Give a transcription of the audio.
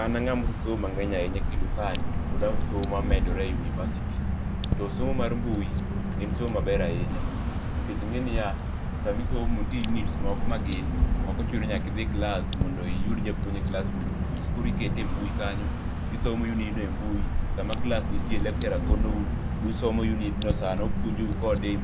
An anga mosesomo mangeny ahinya kendo sani pod asomo amedora e university to somo mar mbui en somo maber ahinya nikech inge niya, sama isomo nitie units moko magin ok ochuno ni nyaka idhi klas mondo iyud japuonj e klas mondo opuonji, koro ikete e mbui kanyo tisomo unit no e mbui. Sama klas nitie lecturer konou tusomo unit no sano, opuonjou sano e